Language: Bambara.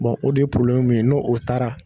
o de ye min ye n'o o taara